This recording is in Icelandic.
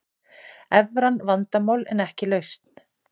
Evran vandamál en ekki lausn